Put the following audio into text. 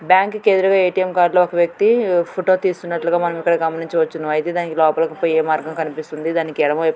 Bank కి ఎదురుగా A _T _M card లో ఒక వ్యక్తి ఫోటో తీస్తున్నటుగా మనం ఇక్కడ గమనించచ్చు. అయితే దానికి లోపలికి పోయే మార్గం కనిపిస్తుంది. దానికి ఎడమ వైపున చిన్న-